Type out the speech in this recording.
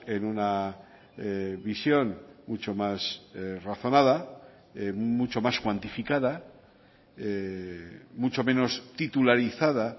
en una visión mucho más razonada mucho más cuantificada mucho menos titularizada